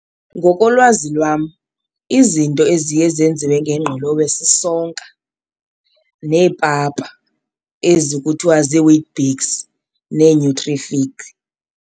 Ngokolwazi lwam izinto eziye zenziwe ngengqolowe sisonka neepapa ezi kuthiwa ziiWeet-Bix neeNutrific.